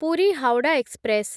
Puri Howrah express